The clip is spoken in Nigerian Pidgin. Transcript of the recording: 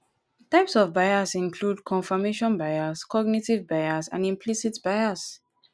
types of bias include confirmation bias cognitive bias and implicit bias